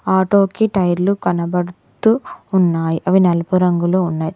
Auto కి టైర్లు కనబడుతూ ఉన్నాయ్ అవి నలుపు రంగులో ఉన్నాయి.